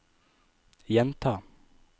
gjenta